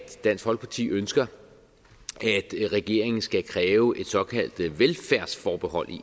dansk folkeparti ønsker at regeringen skal kræve et såkaldt velfærdsforbehold